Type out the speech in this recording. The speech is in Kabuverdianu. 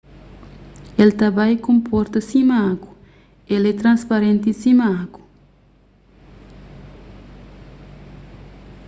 el ta bai konporta sima agu el é transparenti sima agu